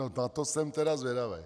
No na to jsem tedy zvědavý.